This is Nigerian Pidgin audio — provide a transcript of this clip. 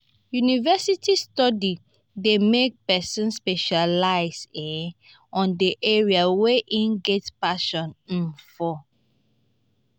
university study dey make persin specialize um on the area wey e get passion um for